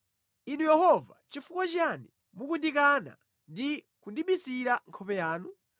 Inu Yehova nʼchifukwa chiyani mukundikana ndi kundibisira nkhope yanu?